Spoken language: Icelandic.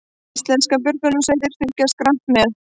Íslenskar björgunarsveitir fylgjast grannt með